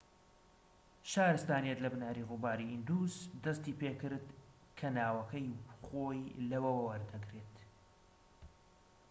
شارستانیەت لە بناری ڕووباری ئیندوس دەستی پێکرد کە ناوەکەی خۆی لەوەوە وەردەگرێت